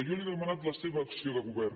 jo li he demanat la seva acció de govern